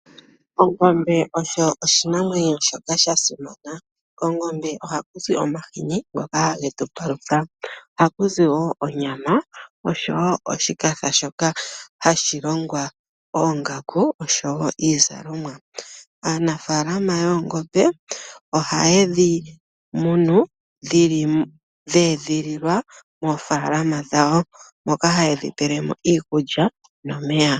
Ongombe osho oshinamwenyo shoka sha simana. Kongombe ohaku zi omahini ngoka hage tu palutha. Ohaku zi wo onyama oshowo oshipa shoka hashi longwa oongaku oshowo iizalomwa. Aanafaalama yoongombe ohaye dhi munu dhe edhililwa moofaalama dhawo moka haye dhi pele mo iikulya nomeya.